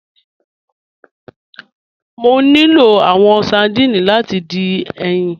Mọ̀ ní lọ̀ awọn sardines láti dín ẹyin.